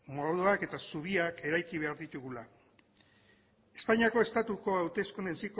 moduak eta zubiak eraiki behar ditugula espainiako estatuko hauteskunde ziklo